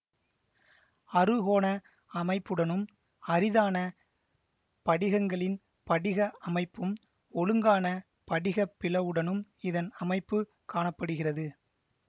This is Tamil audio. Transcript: அறுகோண அமைப்புடனும் அரிதான படிகங்களின் படிக அமைப்பும் ஒழுங்கான படிகப் பிளவுடனும் இதன் அமைப்பு காண படுகிறது